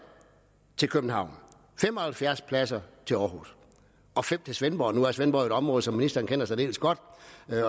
til københavn fem og halvfjerds pladser til aarhus og fem til svendborg nu er svendborg jo et område som ministeren kender særdeles godt